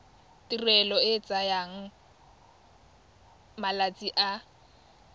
tirelo e tsaya malatsi a